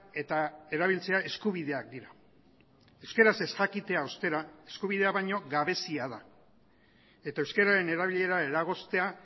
eta erabiltzea eskubideak dira euskaraz ez jakitea ostera eskubidea baino gabezia da eta euskararen erabilera eragoztea